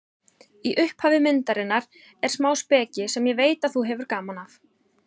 Í upphafi myndarinnar er smá speki sem ég veit að þú hefur gaman af.